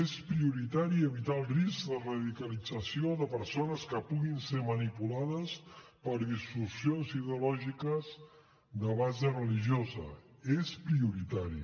és prioritari evitar el risc de radicalització de persones que puguin ser manipulades per distorsions ideològiques de base religiosa és prioritari